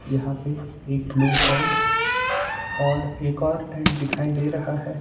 यहां पे एक ब्लू टेंट और एक और टेंट दिखाई दे रहा है।